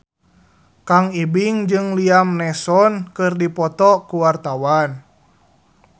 Kang Ibing jeung Liam Neeson keur dipoto ku wartawan